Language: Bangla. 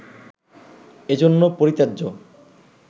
এজন্য পরিত্যাজ্য